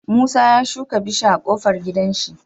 Musa ya shika bishiya a kofar gidan shi